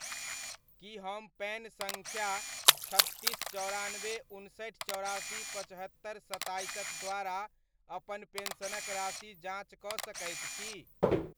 की हम पैन सङ्ख्या छत्तीस, चौरानबे, उनसठि, चौरासी, पचहत्तरि, सत्ताइस'क द्वारा अपन पेन्शनक राशिक जाँच कऽ सकैत छी ?